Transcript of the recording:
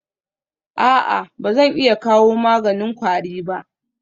A'a ba zan iya kawo maganin kwari ba?